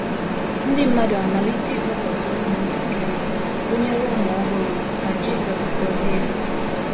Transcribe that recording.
Ndị mmadụ amalite ịkpọta ụmụntakịrị, gụnyere ụmụ ọhụrụ, ka Jisọs gọzie ha.